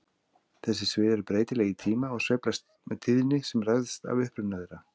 Þessi svið eru breytileg í tíma og sveiflast með tíðni sem ræðst af uppruna þeirra.